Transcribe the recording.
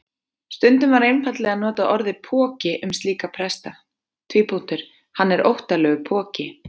Stundum var einfaldlega notað orðið poki um slíka presta: Hann er óttalegur poki.